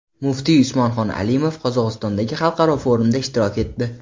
Muftiy Usmonxon Alimov Qozog‘istondagi xalqaro forumda ishtirok etdi.